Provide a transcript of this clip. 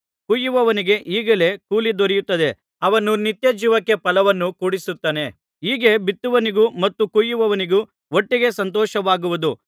ಕೊಯ್ಯುವವನಿಗೆ ಈಗಲೇ ಕೂಲಿ ದೊರೆಯುತ್ತದೆ ಅವನು ನಿತ್ಯಜೀವಕ್ಕೆ ಫಲವನ್ನು ಕೂಡಿಸಿಡುತ್ತಾನೆ ಹೀಗೆ ಬಿತ್ತುವವನಿಗೂ ಮತ್ತು ಕೊಯ್ಯುವವನಿಗೂ ಒಟ್ಟಿಗೆ ಸಂತೋಷವಾಗುವುದು